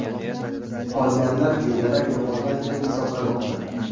Qolganlar bedarak yo‘qolgan deb hisoblanmoqda.